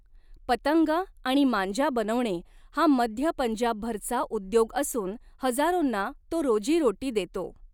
पतंग आणि मांजा बनवणे हा मध्य पंजाबभरचा उद्योग असून हजारोंना तो रोजीरोटी देतो.